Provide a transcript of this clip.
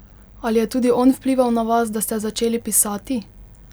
Ali je tudi on vplival na vas, da ste začeli pisati?